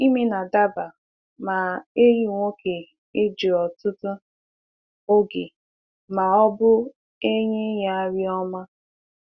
Ime na-adaba ma ehi nwoke ejiri ọtụtụ oge ma ọ bụ enyi ya nri ọma.